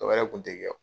Dɔ wɛrɛ kun te kɛ